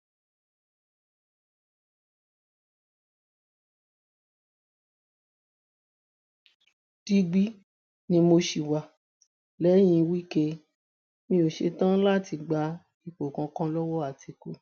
digbí ni mo ṣì wà lẹyìn wike mi ò ṣetán láti gba ipò kankan lọwọ àtìkú